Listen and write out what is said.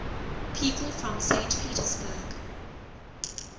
people from saint petersburg